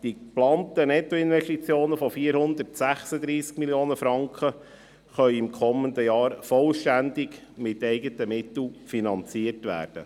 Die geplanten Nettoinvestitionen von 436 Mio. Franken können im kommenden Jahr vollständig durch eigene Mittel finanziert werden.